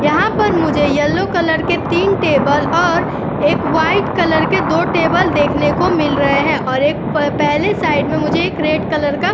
यहाँ पर मुझे येलो कलर के तीन टेबल और एक वाइट कलर के दो टेबल देखने को मिल रहे हैं और एक प पहले साइड में मुझे एक रेड कलर का --